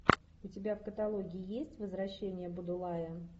у тебя в каталоге есть возвращение будулая